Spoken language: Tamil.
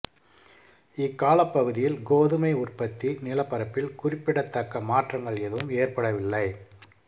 இக்காலப்பகுதியில் கோதுமை உற்பத்தி நிலப்பரப்பில் குறிப்பிடத்தக்க மாற்றங்கள் எதுவும் ஏற்படவில்லை